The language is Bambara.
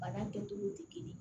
Bana kɛcogo tɛ kelen ye